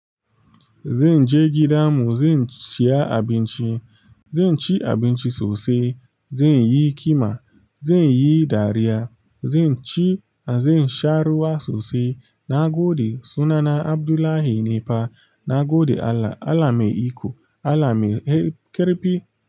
Zan je gida mu zan siya abinci, zan ci abinci sosai, zan yi ƙima, zan yi dariya, zan ci zan sha ruwa sosai. Nagode sunana Abdullahi nifa. Nagode Allah, Allah mai iko Allah mai ƙarfi.